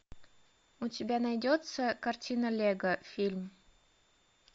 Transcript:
у тебя найдется картина лего фильм